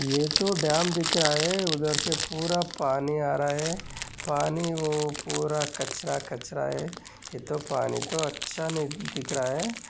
ये तो डॅम दिख रहा है उधर से पूरा पानी आ रहा है पानी वो पूरा कचरा कचरा है ये तो पानी तो अच्छा नहीं दिख रहा है।